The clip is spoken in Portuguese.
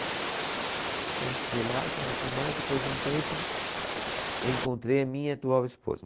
Então, fiquei lá e tal, tudo mais, depois de um tempo, encontrei a minha atual esposa.